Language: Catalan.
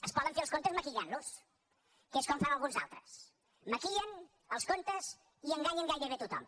es poden fer els comptes maquillant los que és com ho fan alguns altres maquillen els comptes i enganyen gairebé a tothom